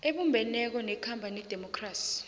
ebumbeneko nekhamba ngedemokhrasi